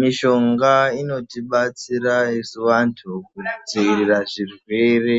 Mishonga inotibatsira isu vantu kudzivirira zvirwere